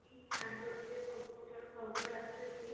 କିନ ଜାଣିପାରୁଛେ ସବୁପ୍ରକାର ଖରାବ ଆସୁଛି